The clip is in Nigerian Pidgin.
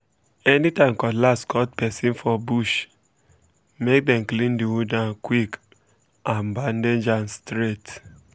anytime cutlass cut person for bush make dem clean the wound am quick um and bandage um am straight